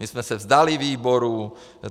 My jsme se vzdali výborů.